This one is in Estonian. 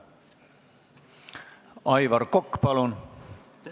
Aivar Kokk, palun!